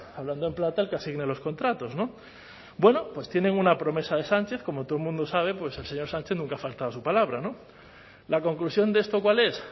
hablando en plata el que asigne los contratos no bueno pues tienen una promesa de sánchez como todo el mundo sabe el señor sánchez nunca ha faltado a su palabra la conclusión de esto cuál es